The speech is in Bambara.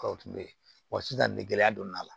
wa sisan nin gɛlɛya donna la